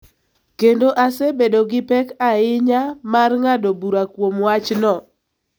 kendo asebedo gi pek ahinya mar ng�ado bura kuom wachno.